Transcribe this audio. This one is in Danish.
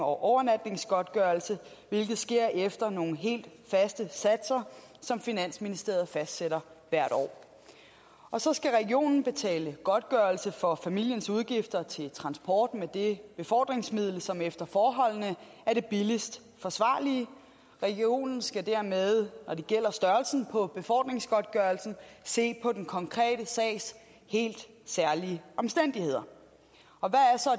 og overnatningsgodtgørelse hvilket sker efter nogle helt faste satser som finansministeriet fastsætter hvert år og så skal regionen betale godtgørelse for familiens udgifter til transport med det befordringsmiddel som efter forholdene er det billigst forsvarlige regionen skal dermed når det gælder størrelsen på befordringsgodtgørelsen se på den konkrete sags helt særlige omstændigheder